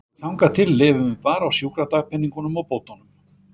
Og þangað til lifum við bara á sjúkradagpeningunum og bótunum.